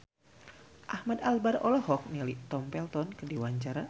Ahmad Albar olohok ningali Tom Felton keur diwawancara